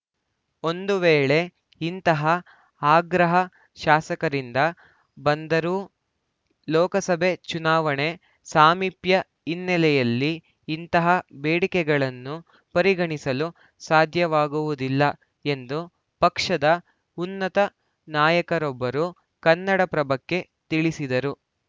ಒಂದು ವೇಳೆ ಇಂತಹ ಆಗ್ರಹ ಶಾಸಕರಿಂದ ಬಂದರೂ ಲೋಕಸಭೆ ಚುನಾವಣೆ ಸಾಮೀಪ್ಯ ಹಿನ್ನೆಲೆಯಲ್ಲಿ ಇಂತಹ ಬೇಡಿಕೆಗಳನ್ನು ಪರಿಗಣಿಸಲು ಸಾಧ್ಯವಾಗುವುದಿಲ್ಲ ಎಂದು ಪಕ್ಷದ ಉನ್ನತ ನಾಯಕರೊಬ್ಬರು ಕನ್ನಡಪ್ರಭಕ್ಕೆ ತಿಳಿಸಿದರು